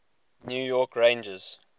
new york rangers